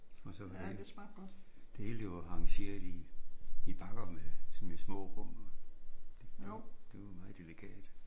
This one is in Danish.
Og så var det det hele det var arrangeret i i bakker sådan med små rum. Det var meget delikat